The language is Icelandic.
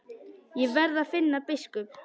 Ég verð að finna biskup!